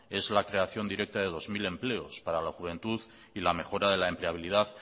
es la creación directa de dos mil empleos para la juventud y la mejora de la empleabilidad